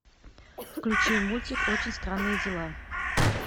включи мультик очень странные дела